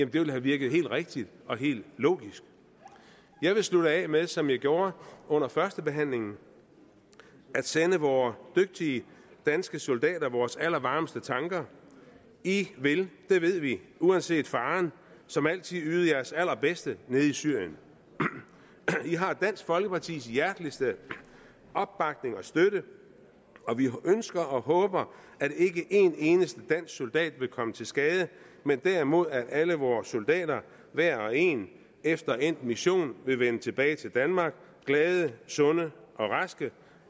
ville have virket helt rigtigt og helt logisk jeg vil slutte af med som jeg gjorde under førstebehandlingen at sende vore dygtige danske soldater vores allervarmeste tanker i vil det ved vi uanset faren som altid yde jeres allerbedste nede i syrien i har dansk folkepartis hjerteligste opbakning og støtte og vi ønsker og håber at ikke en eneste dansk soldat vil komme til skade men derimod at alle vores soldater hver og en efter endt mission vil vende tilbage til danmark glade sunde og raske